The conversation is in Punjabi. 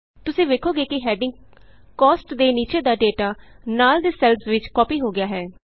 ਤੁਸੀਂ ਵੇਖੋਗੇ ਕਿ ਹੈਡਿੰਗ ਕੋਸਟ ਦੇ ਨੀਚੇ ਦਾ ਡੇਟਾ ਨਾਲ ਦੇ ਸੈੱਲਸ ਵਿਚ ਕਾਪੀ ਹੋ ਗਿਆ ਹੈ